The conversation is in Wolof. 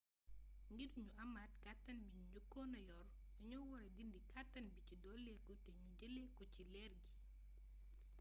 ngir ñu amaat kàttan bi ñu njëkoon yor dañu wara dindi kàttan bi ci dolliku te ñu jëlee ko ci leer gi